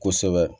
Kosɛbɛ